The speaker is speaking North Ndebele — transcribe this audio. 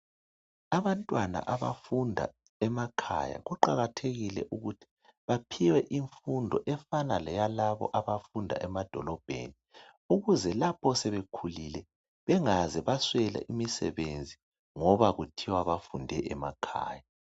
Abantwana abafunda emakhaya kuqakathekile ukuthi baphiwe imfundo efana leyalabo abafunda emadolobheni ukuze lapho sebekhulile bengaze baswela imisebenzi ngoba kuthiwa bafunde emakhaya